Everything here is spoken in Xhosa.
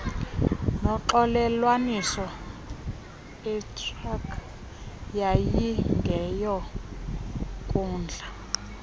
noxolelwaniso itrc yayingeyonkundla